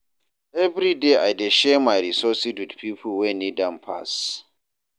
Every day, I dey share my resources with people wey need am pass.